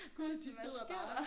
Gud de sidder bare